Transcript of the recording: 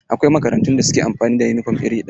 Akwai makarantun da suke amfani da yunifom iri ɗaya.